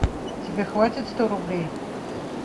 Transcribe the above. тебе хватит сто рублей